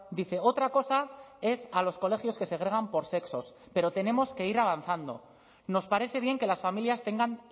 dice otra cosa es a los colegios que segregan por sexos pero tenemos que ir avanzando nos parece bien que las familias tengan